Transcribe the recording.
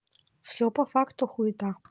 всё по факту хуета